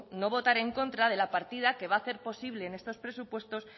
no votar en contra de la partida que va a hacer posible en estos presupuestos